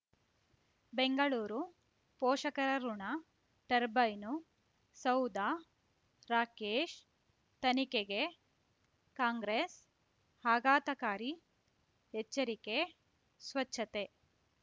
ಬೆಂಗಳೂರು ಪೋಷಕರಋಣ ಟರ್ಬೈನು ಸೌಧ ರಾಕೇಶ್ ತನಿಖೆಗೆ ಕಾಂಗ್ರೆಸ್ ಆಘಾತಕಾರಿ ಎಚ್ಚರಿಕೆ ಸ್ವಚ್ಛತೆ